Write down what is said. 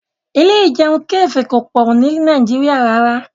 Ilé ìjẹun kàfé kò pọ̀ ni Nàìjíríà rárá